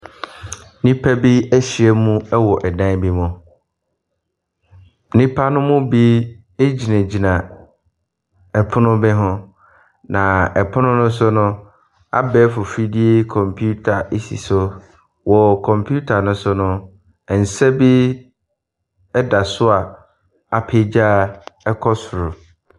Nnipa na ahyia mu wɔ dan bi mu. Nnipa ne mu bi gyinagyina pono bi ho, na pono ne so no, abɛɛfor fidie kɔmpiita si so. Wɔ kɔmpiita ne so no, nsa bi da so a apagya kɔ soro.